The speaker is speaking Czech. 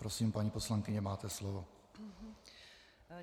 Prosím, paní poslankyně, máte slovo.